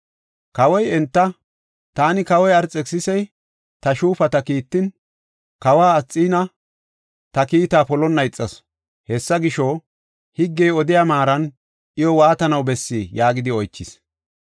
Kawoy enta, “Taani, kawoy Arxekisisi, ta shuufata kiittin, Kawiya Asxiina ta kiitaa polonna ixasu. Hessa gisho, higgey odiya maaran iyo waatanaw bessii?” yaagidi oychis.